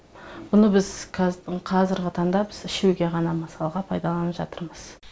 бұны біз қазіргі таңда ішуге ғана мысалы пайдаланып жатырмыз